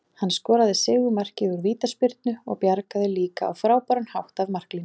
Hann skoraði sigurmarkið úr vítaspyrnu og bjargaði líka á frábæran hátt af marklínu.